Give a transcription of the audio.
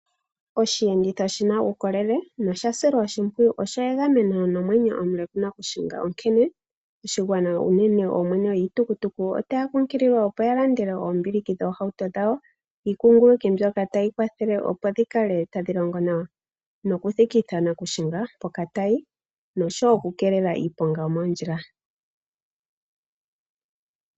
Oshiyenditho shi na uukolele nosha silwa oshimpwiyu oshi na egameno nomwenyo omuke mokushinga, onkene oshigwana unene oomwene yiitukutuku otaya kunkililwa opo ya landele oombiliki dhoohauto dhawo iikunguluki mbyoka tayi kwathele opo dhi kale tadhi longo nawa, nokuthikitha nakushinga mpoka tayi. Noshowo okukeelela iiponga yo moondjila.